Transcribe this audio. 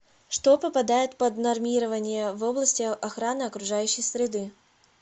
что попадает под нормирование в области охраны окружающей среды